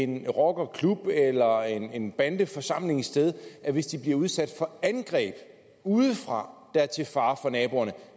en rockerklub eller en bande forsamlet et sted hvis de bliver udsat for angreb udefra der er til fare for naboerne at